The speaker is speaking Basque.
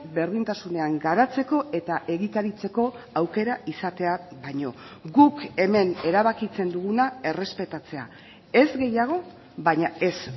berdintasunean garatzeko eta egikaritzeko aukera izatea baino guk hemen erabakitzen duguna errespetatzea ez gehiago baina ez